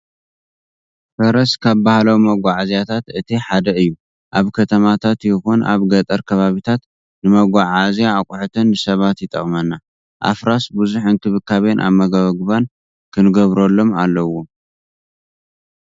ፈረስ ካብ ባህላዊ መጓዓዓዝያታት እቲ ሓደ እዩ። ኣብ ከተማታት ይኹን ኣብ ገጠር ከባቢታት ንመጓዓዓዝያ ኣቍሑትን ንሰባትን ይጠቅሙና። ኣፍራስ ብዙሕ እንክብባቤን ኣመጋግባን ክግበረሎም ኣለዎ።